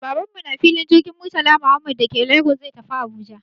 Baban mu na filin jirgin Murtala Muhammad da ke Lagos zai tafi Abuja